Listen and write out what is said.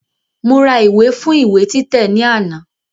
Mo ra ìwé fún ìwé títẹ̀ ní àná